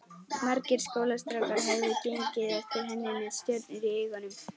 Margir skólastrákar höfðu gengið eftir henni með stjörnur í augum.